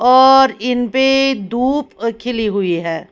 और इन पे धूप खिली हुई है ।